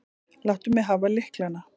Láttu mig hafa lyklana.